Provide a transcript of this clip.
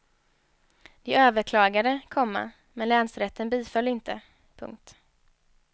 De överklagade, komma men länsrätten biföll inte. punkt